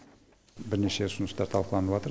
бірнеше ұсыныстар талқыланыватыр